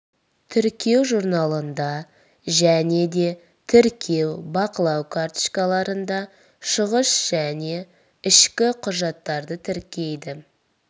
тіркеу журналында және де тіркеу бақылау карточкаларында шығыс және ішкі құжаттарды тіркейді